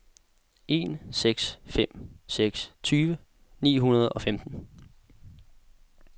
en seks fem seks tyve ni hundrede og femten